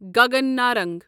Gagan Narang